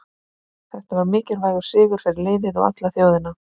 Þetta var mikilvægur sigur fyrir liðið og alla þjóðina.